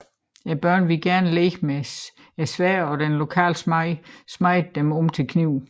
Børnene ville gerne lege med sværdene og den lokale smed smedede dem om til knive